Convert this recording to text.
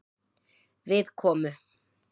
Við komu